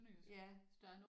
Ja